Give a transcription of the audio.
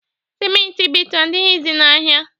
Siment Ibeto adịghịzị n'ahịa.